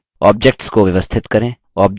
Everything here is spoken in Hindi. objects को व्यवस्थित करें